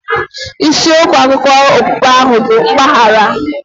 Isi okwu akụkọ okpukpe ahụ bụ mgbaghara.